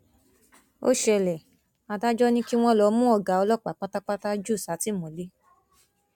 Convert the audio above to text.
ó ṣẹlẹ adájọ ni kí wọn lọọ mú ọgá ọlọpàá pátápátá jù sátìmọlé